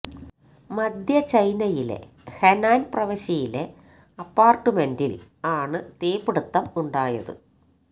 മധ്യ ചൈനയിലെ ഹെനാന് പ്രവിശ്യയിലെ അപ്പാര്ട്മെന്റില് ആണ് തീപിടുത്തം ഉണ്ടായത്